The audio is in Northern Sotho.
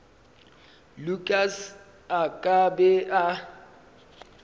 lukas a ka be a